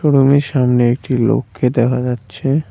রুমের সামনে একটি লোককে দেখা যাচ্ছে।